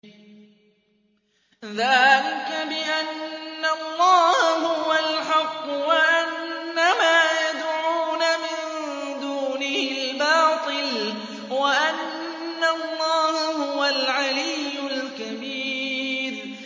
ذَٰلِكَ بِأَنَّ اللَّهَ هُوَ الْحَقُّ وَأَنَّ مَا يَدْعُونَ مِن دُونِهِ الْبَاطِلُ وَأَنَّ اللَّهَ هُوَ الْعَلِيُّ الْكَبِيرُ